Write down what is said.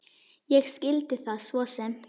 Ég skildi það svo sem.